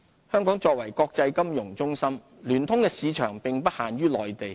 香港作為國際金融中心，聯通的市場並不限於內地。